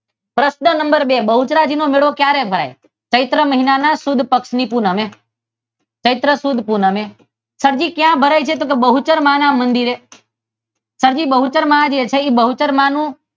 પ્રશ્ન number two - Bahucharaji નો મેળો ક્યારે ભરાય છે? ચૈત્ર મહિના સુદ પક્ષની પૂનમે. ચૈત્ર સુદ પૂનમે. સર જી ક્યાં ભરાય છે? તો કે બહુચર માં ના મંદિરે સર બહુચર માં છે તે બહુચર માનું